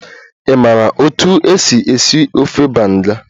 Ị maara otú e si esi ofe banga?